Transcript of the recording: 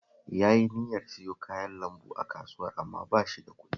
Yayi niyyar siyo kayan lambu a Kasuwar amma ba shi da kuɗi